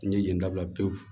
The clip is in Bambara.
N ye yen dabila pewu